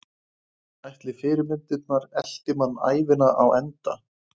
Ætli fyrirmyndirnar elti mann ævina á enda?